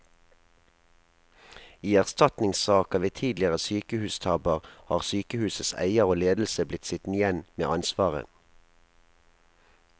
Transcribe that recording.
I erstatningssaker ved tidligere sykehustabber har sykehusets eier og ledelse blitt sittende igjen med ansvaret.